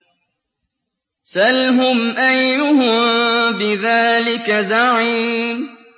سَلْهُمْ أَيُّهُم بِذَٰلِكَ زَعِيمٌ